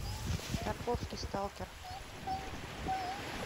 тарковский сталкер